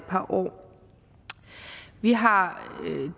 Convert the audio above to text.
par år vi har